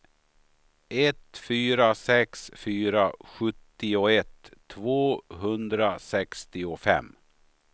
ett fyra sex fyra sjuttioett tvåhundrasextiofem